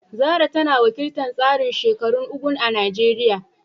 Zarah tana wakiltar tsarin shekarun “Ugwu” a Najeriya